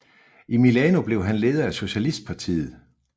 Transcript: I Milano blev han leder i socialistpartiet